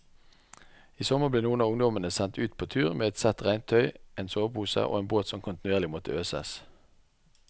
I sommer ble noen av ungdommene sendt ut på tur med ett sett regntøy, en sovepose og en båt som kontinuerlig måtte øses.